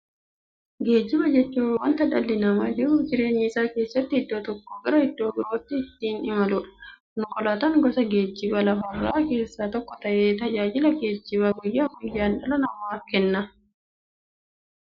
Geejjiba jechuun wanta dhalli namaa jiruuf jireenya isaa keessatti iddoo tokkoo gara iddoo birootti ittiin imaluudha. Konkolaatan gosa geejjibaa lafarraa keessaa tokko ta'ee, tajaajila geejjibaa guyyaa guyyaan dhala namaaf kenna.